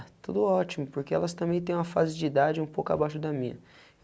Ah, tudo ótimo, porque elas também têm uma fase de idade um pouco abaixo da minha.